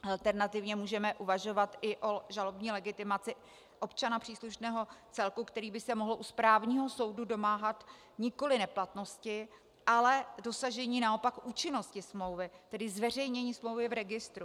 Alternativně můžeme uvažovat i o žalobní legitimaci občana příslušného celku, který by se mohl u správního soudu domáhat nikoli neplatnosti, ale dosažení naopak účinnosti smlouvy, tedy zveřejnění smlouvy v registru.